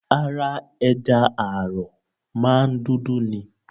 Ara ẹja àrọ̀ máa ń dúdú ni.